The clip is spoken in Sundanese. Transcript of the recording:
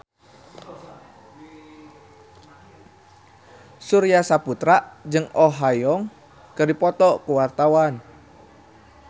Surya Saputra jeung Oh Ha Young keur dipoto ku wartawan